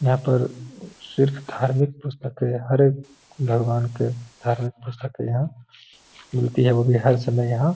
यहाँ पर सिर्फ धार्मिक पुस्तकें हर एक भगवान के धार्मिक पुस्तकें यहाँ मिलती है वो भी हर समय यहाँ --